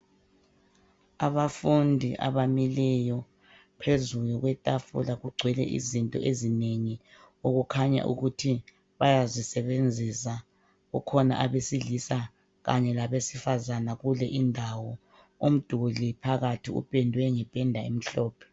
Abafundi abamileyo, phezulu kwetafula kugcwele izinto ezinengi okukhanya ukuthi bayazisebenzisa. Kukhona abesilisa kanye labesifazane kule indawo .Umduli phakathi upendwe ngependa emhlophe.